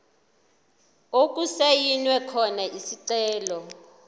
okusayinwe khona isicelo